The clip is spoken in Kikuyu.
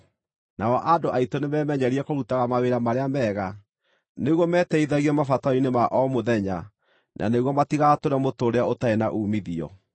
Nao andũ aitũ nĩmemenyerie kũrutaga mawĩra marĩa mega, nĩguo mateithagĩrĩrie mabataro-inĩ ma o mũthenya nĩguo matigatũũre mũtũũrĩre ũtarĩ na uumithio.